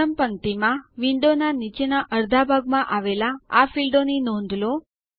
પ્રથમ પંક્તિ માં વિંડોના નીચેના અડધા ભાગમાં આવેલ આ ફીલ્ડોની નોંધ લો